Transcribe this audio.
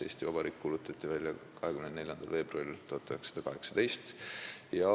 Eesti Vabariik kuulutati välja 24. veebruaril 1918.